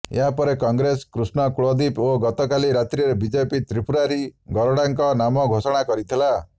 ଏହାପରେ କଂଗ୍ରେସ କୃଷ୍ଣ କୁଲଦୀପ ଓ ଗତକାଲି ରାତ୍ରୀରେ ବିଜେପି ତ୍ରୀପୁରାରୀ ଗରଡାଙ୍କ ନାମ ଘୋଷଣା କରିଥିଲା